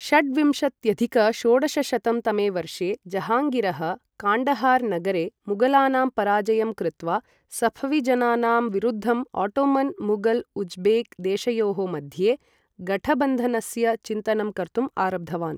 षड्विंशत्यधिक षोडशशतं तमे वर्षे जहाङ्गीरः काण्डहार नगरे मुगलानाम् पराजयं कृत्वा सफवी जनानाम् विरुद्धं ओटोमन मुगल उज्बेक देशयोः मध्ये गठबन्धनस्य चिन्तनं कर्तुं आरब्धवान् ।